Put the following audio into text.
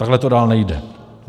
Takhle to dál nejde.